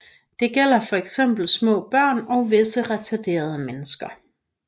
Det gælder fx små børn og visse retarderede mennesker